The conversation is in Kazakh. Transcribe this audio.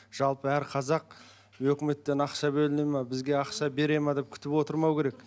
жалпы әр қазақ үкіметтен ақша бөліне ме бізге ақша бере ме деп күтіп отырмау керек